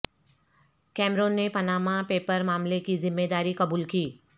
Cameroon نے Panama paper معاملے کی ذمہ داری قبول کی